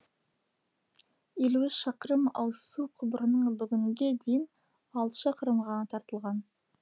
елу үш шақырым ауызсу құбырының бүгінге дейін алты шақырымы ғана тартылған